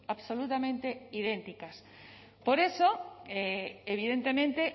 absolutamente idénticas por eso evidentemente